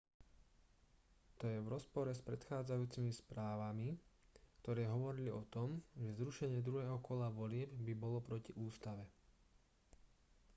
to je v rozpore s predchádzajúcimi správami ktoré hovorili o tom že zrušenie druhého kola volieb by bolo proti ústave